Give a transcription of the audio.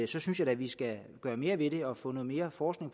da synes at vi skal gøre mere ved det og få noget mere forskning